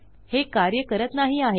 हे कार्य करत नाही आहे